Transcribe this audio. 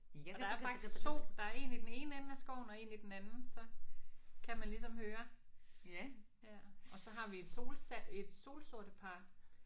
Og der er faktisk 2 der er 1 i den ene ende af skoven og 1 i den anden så kan man ligesom høre. Ja. Og så har vi et sol et solsortepar